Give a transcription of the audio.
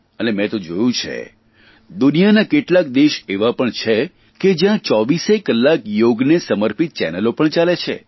અને મેં તો જોયું છે દુનિયાના કેટલાક દેશ એવા પણ છે કે જયાં ચોવીસેય કલાક યોગને સમર્પિત ચેનલો પણ આવે છે